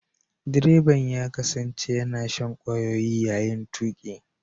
Direban ya kasance yana shan kwayoyi yayin tuki.